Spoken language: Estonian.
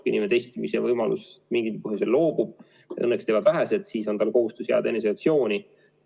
Kui inimene testimise võimalusest mingil põhjusel loobub – seda õnneks teevad vähesed –, siis on tal kohustus jääda eneseisolatsiooni.